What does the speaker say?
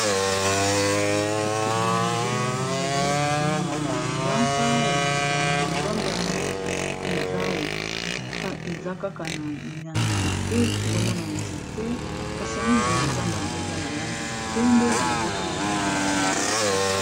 kasi boye nazomona eza neti nyama zamba yango eza kaka na nzete tozomona nzete kasi yango nya mazamba yango eza na lange ya pembe boye eza pe na langi neti ya mosaka